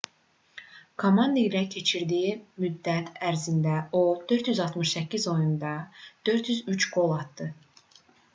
komanda ilə keçirdiyi müddət ərzində o 468 oyunda 403 qol atdı